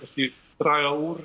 draga úr